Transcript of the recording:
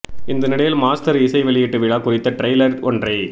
இந்த நிலையில் மாஸ்டர் இசை வெளியீட்டு விழா குறித்த ட்ரெய்லர் ஒன்றை